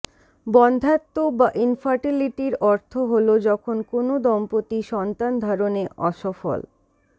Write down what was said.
বন্ধ্যাত্ব বা ইনফারটিলিটির অর্থ হল যখন কোনও দম্পতি সন্তানধারণে অসফল